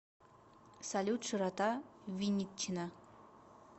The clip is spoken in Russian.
салют широта виннитчина